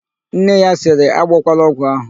Nne ya sịrị, "agbọkwala ọgwụ ahụ"!